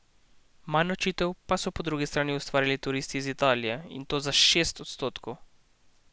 Manj nočitev pa so po drugi strani ustvarili turisti iz Italije, in to za šest odstotkov.